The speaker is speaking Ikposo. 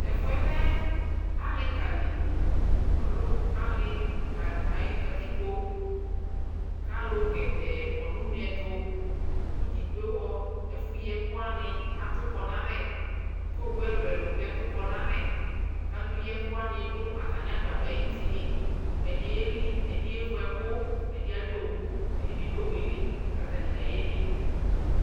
tɛƒʋɛ lɛ alika li, ɔlɛ alika ayi katikpɔ kʋ alʋ gɛdɛɛ kɔnʋ ʋnɛ ɛtʋ kʋ gyikpɔhɔ ɛƒʋyi ɛkʋ wani atʋ kɔ nʋ alɛ kʋ ɔwʋ ɛlʋɛlʋ bi atʋ kɔ nʋ alɛ kʋ alʋyiɛkʋ wani dʋ atani agbadɔɛ ayiti, ɛdi yɛli ɛdi yɛvʋ ɛkʋ ɛdi adʋ ɔwʋ ɛdibi dʋ ɔwʋɛli kʋ atani gya yɛli